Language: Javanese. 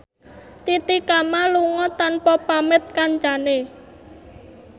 Titi Kamal lunga tanpa pamit kancane